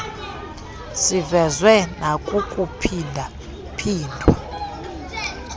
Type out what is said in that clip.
sivezwe nakukuphinda phindwa